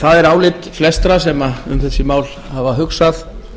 það er álit flestra sem um þessi mál hafa hugsað